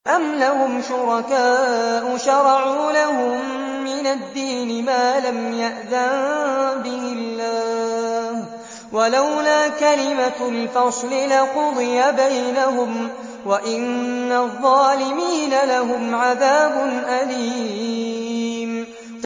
أَمْ لَهُمْ شُرَكَاءُ شَرَعُوا لَهُم مِّنَ الدِّينِ مَا لَمْ يَأْذَن بِهِ اللَّهُ ۚ وَلَوْلَا كَلِمَةُ الْفَصْلِ لَقُضِيَ بَيْنَهُمْ ۗ وَإِنَّ الظَّالِمِينَ لَهُمْ عَذَابٌ أَلِيمٌ